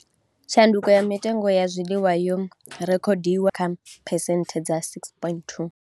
Tshanduko kha mitengo ya zwiḽiwa yo rekhodiwa kha phesenthe dza 6.2.